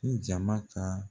Ko jama ka